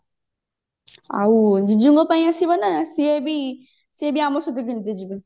ଆଉ ଜିଜୁଙ୍କ ପାଇଁ ଆସିବ ନା ସିଏ ବି ସିଏ ବି ଆମସହିତ କେମିତେ ଯିବେ